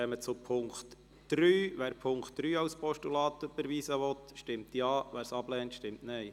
Wer die Ziffer 3 annimmt, stimmt Ja, wer diese ablehnt, stimmt Nein.